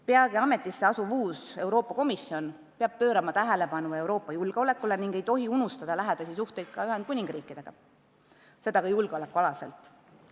Peagi ametisse asuv uus Euroopa Komisjon peab pöörama tähelepanu Euroopa julgeolekule ega tohi unustada lähedasi suhteid ka Ühendkuningriigiga, seda ka julgeolekualaselt.